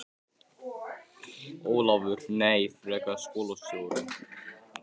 Ólafur: Nei, frekar skólastjórann.